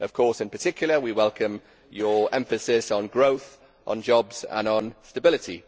Naturally, in particular we welcome your emphasis on growth, on jobs and on stability.